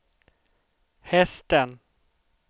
hästen